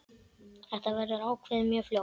Þetta verður ákveðið mjög fljótt.